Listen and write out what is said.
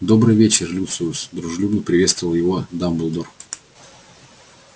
добрый вечер люциус дружелюбно приветствовал его дамблдор